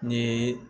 Ni